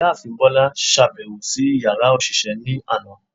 Ìyáàfín Bola ṣabẹwo si ìyára oṣiṣẹ ni aná